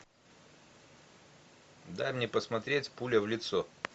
дай мне посмотреть пуля в лицо